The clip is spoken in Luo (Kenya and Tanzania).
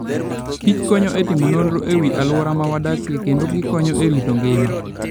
kich konyo e timo nonro e wi alwora ma wadakie kendo gikonyo e rito ngima.